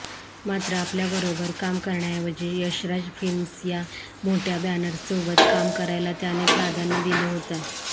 मात्र आपल्याबरोबर काम करण्याऐवजी यशराज फिल्मस या मोठ्या बॅनरसोबत काम करायला त्याने प्राधान्य दिलं होतं